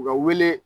U ka wele